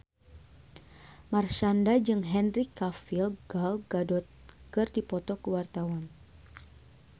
Marshanda jeung Henry Cavill Gal Gadot keur dipoto ku wartawan